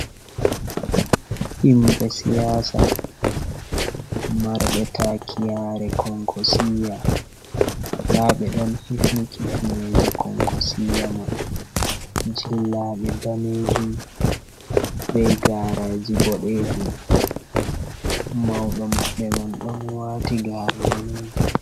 Himɓe siyasa marɓe taki yaare konkosiya, nda ɓe ɗon hifni kifne je konkosiya man, jillaɗe daneejum be garaji boɗejum, mauɗo maɓɓe man ɗon waati gaare daneejum.